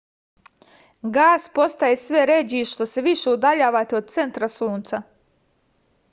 gas postaje sve ređi što se više udaljavate od centra sunca